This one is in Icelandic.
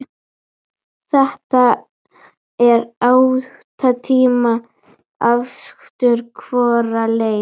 Þetta er átta tíma akstur hvora leið.